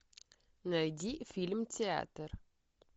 найди фильм театр